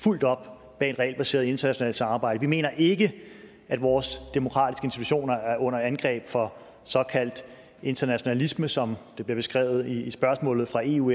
fuldt op bag et regelbaseret internationalt samarbejde vi mener ikke at vores demokratiske institutioner er under angreb fra såkaldt internationalisme som det bliver beskrevet i spørgsmålet fra eu